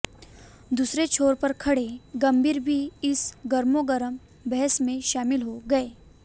दूसरे छोर पर खड़े गंभीर भी इस गर्मागर्म बहस में शामिल हो गए